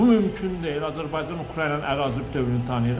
Bu mümkün deyil, Azərbaycan Ukraynanın ərazi bütövlüyünü tanıyır.